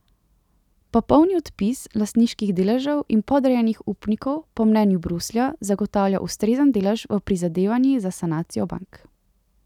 Popolni odpis lastniških deležev in podrejenih upnikov po mnenju Bruslja zagotavlja ustrezen delež v prizadevanji za sanacijo bank.